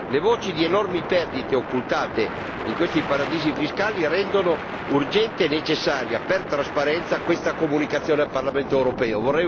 Le voci di enormi perdite occultate in questi paradisi fiscali rendono urgente e necessaria, ai fini della trasparenza, questa comunicazione al Parlamento europeo.